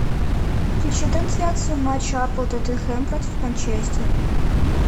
включи трансляцию матча апл тоттенхэм против манчестера